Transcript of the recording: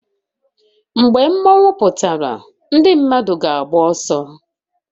Mgbe mmanwu pụtara ndị mmadụ ga-agba ọsọ